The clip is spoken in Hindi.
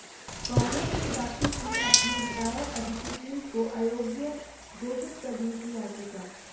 कांग्रेस ने दाखिल की अपनी विधायक अदिति सिंह को अयोग्य घोषित करने की याचिका